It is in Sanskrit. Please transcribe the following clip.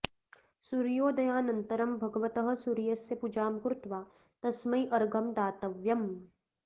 सूर्योदयानन्तरं भगवतः सूर्यस्य पूजां कृत्वा तस्मै अर्घ्यं दातव्यम्